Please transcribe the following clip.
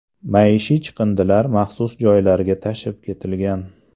Maishiy chiqindilar maxsus joylarga tashib ketilgan.